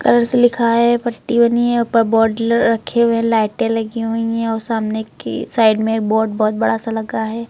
Colour से लिखा है पट्टी बनी है ऊपर बोड ल रखे हुए लाइटें लगी हुई है और सामने की साइड में एक बोड बहोत बड़ा सा लगा है।